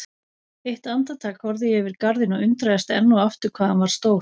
Eitt andartak horfði ég yfir garðinn og undraðist enn og aftur hvað hann var stór.